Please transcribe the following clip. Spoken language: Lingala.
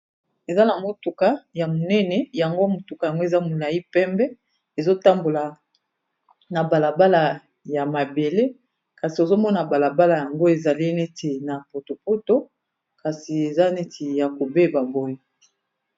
eza na mutuka ya monene yango mutuka yango eza molai pembe ezotambola na balabala ya mabele kasi ozomona balabala yango ezali neti na potopoto kasi eza neti ya kobeba boyi